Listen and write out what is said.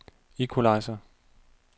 equalizer